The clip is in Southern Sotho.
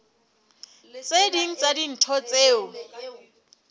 tse ding tsa dintho tseo